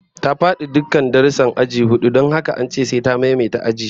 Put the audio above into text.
Ta fadi dukkan darussan aji hudu don haka an ce sai ta maimaita ajin